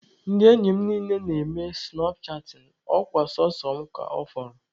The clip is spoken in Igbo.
Ndị enyi m niile na-eme sụnap chatịn, ọ kwa sọsọ mụ ka ọ fọrọ.